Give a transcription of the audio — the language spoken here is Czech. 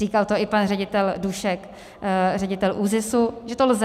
Říkal to i pan ředitel Dušek, ředitel ÚZIS, že to lze.